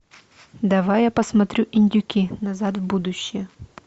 давай я посмотрю индюки назад в будущее